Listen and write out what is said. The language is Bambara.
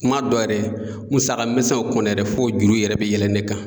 Kuma dɔ yɛrɛ musaka misɛnw kɔni yɛrɛ, f'o juru yɛrɛ bi yɛlɛn ne kan.